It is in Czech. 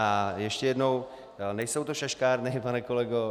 A ještě jednou, nejsou to šaškárny, pane kolego.